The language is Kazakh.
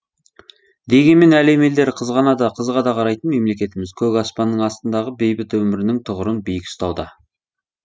дегенмен әлем елдері қызғана да қызыға да қарайтын мемлекетіміз көк аспанның астындағы бейбіт өмірінің тұғырын биік ұстауда